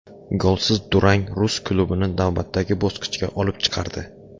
Golsiz durang rus klubini navbatdagi bosqichga olib chiqardi.